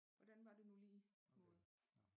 Hvordan var det nu lige måde